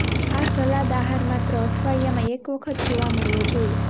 આ સલાદ આહાર માત્ર અઠવાડિયામાં એક વખત જોવા મળવો જોઈએ